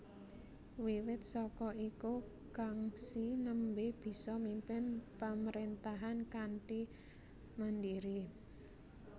Wiwit saka iku Kangxi nembe bisa mimpin pamrentahan kanthi mandiri